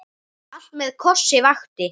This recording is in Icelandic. Allt með kossi vakti.